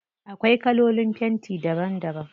Akwai kalolin fenti daban daban.